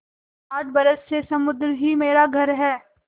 आठ बरस से समुद्र ही मेरा घर है